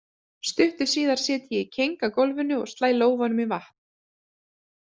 Stuttu síðar sit ég í keng á gólfinu og slæ lófanum í vatn.